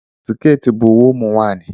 siketi bụ uwe ụmụ nwanyị